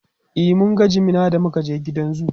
e mun ga jimina da muka je gidan zoo